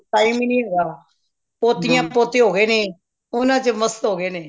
time ਹੀ ਨਹੀਂ ਹੁੰਦਾ ਪੋਤਿਆਂ ਪੋਤੇ ਹੋ ਗਏ ਨੇ ਉਹਨਾਂ ਚ ਮਸਤ ਹੋ ਗਏ ਨੇ